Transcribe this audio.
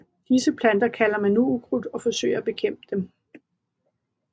Disse planter kalder man nu ukrudt og forsøger at bekæmpe dem